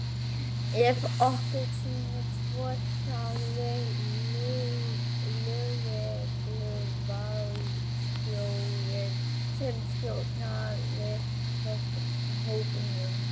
Ef okkur sýnist svo sagði lögregluvarðstjórinn sem stjórnaði hópnum.